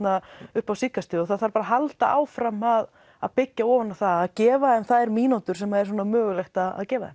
upp á síðkastið og það þarf að halda áfram að að byggja ofan á það að gefa þeim þær mínútur sem er mögulegt að gefa þeim